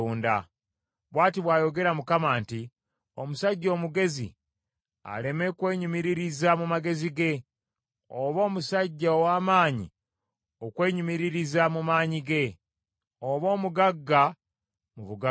Bw’ati bw’ayogera Mukama nti, “Omusajja omugezi aleme kwenyumiririza mu magezi ge, oba omusajja ow’amaanyi okwenyumiririza mu maanyi ge oba omugagga mu bugagga bwe.